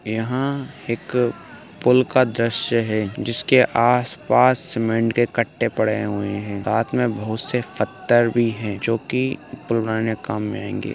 यहा एक पुल का द्रश्य है जिसके आस पास सीमेंट के कट्टे पड़े हुए है साथ मे बहुत से पत्थर भी है जोकि पुल बनाने के काम मे आएंगे।